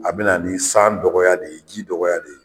A bɛ na ni san dɔgɔya de ye, ji dɔgɔya de ye.